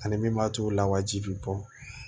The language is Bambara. Ani min b'a to u la wajibi bɛ bɔ